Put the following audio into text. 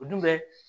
O dun bɛ